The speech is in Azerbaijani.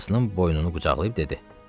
Atasının boynunu qucaqlayıb dedi: